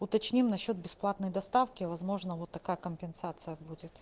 уточним насчёт бесплатной доставки возможно вот такая компенсация будет